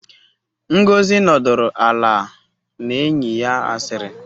Ngozi nọdụrụ ala na enyi ya asịrị